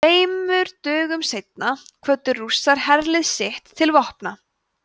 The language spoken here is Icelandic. tveimur dögum seinna kvöddu rússar herlið sitt til vopna